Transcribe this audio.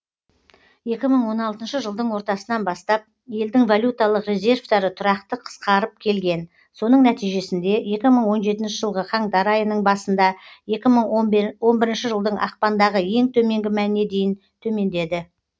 екі мың он алтыншы жылдың ортасынан бастап елдің валюталық резервтері тұрақты қысқарып келген соның нәтижесінде екі мың он жетінші жылғы қаңтар айының басында екі мың он бірінші жылдың ақпандағы ең төменгі мәніне дейін төмендеді